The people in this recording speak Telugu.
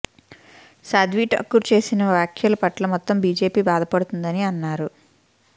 సాధ్వి ఠాకూర్ చేసిన వ్యాఖ్యల పట్ల మొత్తం బీజేపీ బాధపడుతోందని అన్నారు